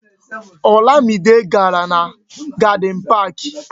Olamide gàrà na Gadin Pak